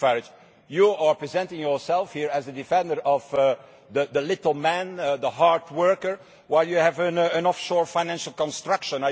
Mr Farage, you are presenting yourself here as a defender of the little man and the hard worker while you have an offshore financial construction.